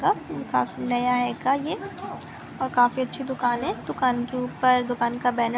नया हेका हे ये और काफी अच्छी दुकान है दुकान के ऊपर दुकान का --